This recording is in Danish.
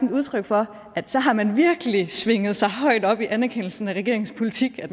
et udtryk for at så har man virkelig svinget sig højt op i anerkendelsen af regeringens politik